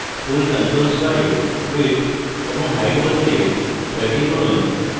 tool controls bar এ width এবং height বদলে 30 করুন